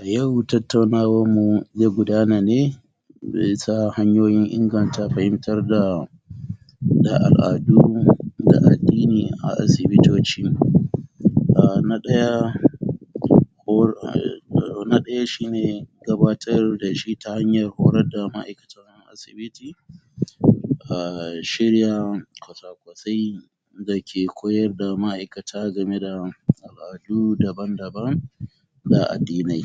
A yau tattaunawanmu ze gudana ne me yasa hanyoyin inganta fahimtar da da al'adun da addini a asibitoci a na ɗaya? na ɗaya shi ne gabatar da shi ta hanyar horar da ma'aikatan asibiti a shirya kwasakwasai dake koyar da ma'aikata game da al'adu daban-daban da addinai